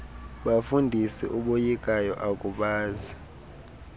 bafundisi uboyikayo akuyazi